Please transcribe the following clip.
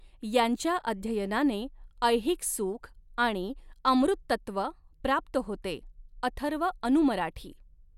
यांच्या अध्ययनानें ऐहिक सुखआणि अमृततत्त्व प्राप्त होते अथर्व अनु मराठी